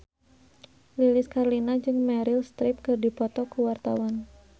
Lilis Karlina jeung Meryl Streep keur dipoto ku wartawan